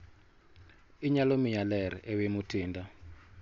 Inyalo miya ler ewi Mutinda?